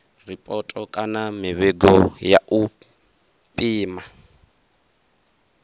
ripoto kana mivhigo ya u pima